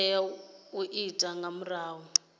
tea u itwa nga muthu